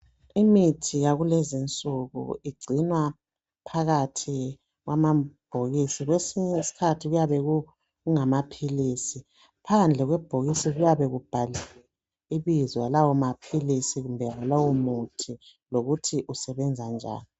Imithi yakulezi insuku igcinwa phakathi kwamabhokisi kwesinye isikhathi kuyabe kungamaphilisi. Phandle kwebhokisi kuyabe kubhaliwe ibizo lawo maphilisi kumbe lowo muthi lokuthi usebenza njani.